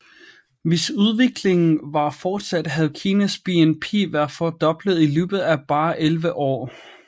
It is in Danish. Hvis udviklingen var fortsat havde Kinas BNP været fordoblet i løbet af bare 11 år